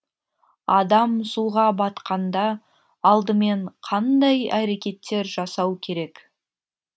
адам суға батқанда алдымен қандай әрекеттер жасау керек